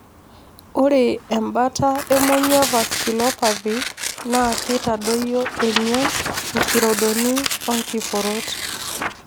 Ore embata emonyua vasculopathy naa kitadoyio emion, nkirodoni o nkiporot.